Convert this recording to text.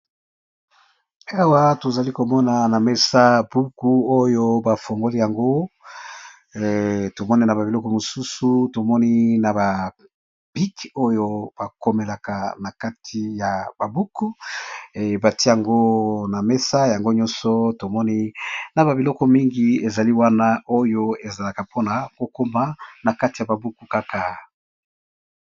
Awa tozalikomona na mesa buku oyo bafunguli yango tomoni na ba biloko mosusu tomoni na ba bic oyo bakomelaka nakati ya buku batiye yango na mesa.